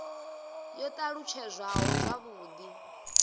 yo t alutshedzwaho zwavhud i